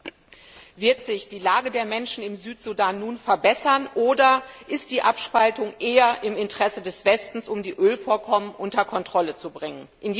Herr Präsident! Wird sich die Lage der Menschen im Südsudan nun verbessern oder ist die Abspaltung eher im Interesse des Westens, um die Ölvorkommen unter Kontrolle zu bringen?